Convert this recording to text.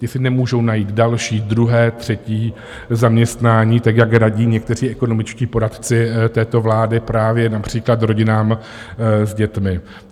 Ti si nemůžou najít další, druhé, třetí zaměstnání, tak jak radí někteří ekonomičtí poradci této vlády právě například rodinám s dětmi.